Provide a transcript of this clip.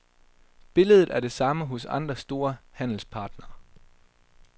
Billedet er det samme hos andre store handelspartnere.